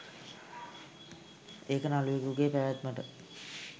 ඒක නළුවෙකුගේ පැවැත්මට